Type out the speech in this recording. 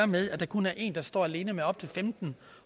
med at der kun er en der står alene med op til femten